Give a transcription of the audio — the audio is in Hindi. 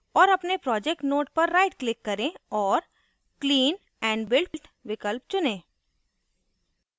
और अपने project node पर right click करें औऱ clean and build विकल्प चुनें